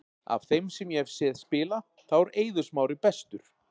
Af þeim sem ég hef séð spila, þá er Eiður Smári bestur.